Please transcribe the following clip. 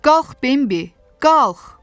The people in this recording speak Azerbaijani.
Qalx, Bembi, qalx!